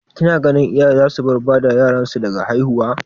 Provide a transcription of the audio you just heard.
Ki na ganin iyaye za su bar bada yaran su daga haihuwa?